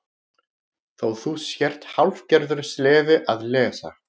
Þó þú sért hálfgerður sleði að lesa.